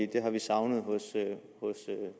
det har vi savnet hos